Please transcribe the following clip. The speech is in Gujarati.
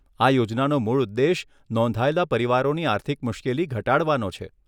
આ યોજનાનો મૂળ ઉદ્દેશ નોંધાયેલા પરિવારોની આર્થિક મુશ્કેલી ઘટાડવાનો છે.